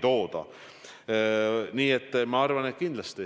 Kas see plaan on osa kriisist